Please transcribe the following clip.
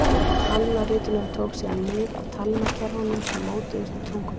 Talnaritunin tók síðan mið af talnakerfunum sem mótuðust í tungumálinu.